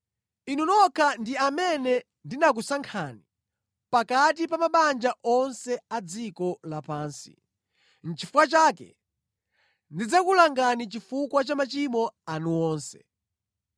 “Inu nokha ndi amene ndinakusankhani pakati pa mabanja onse a dziko lapansi; nʼchifukwa chake ndidzakulangani chifukwa cha machimo anu onse.”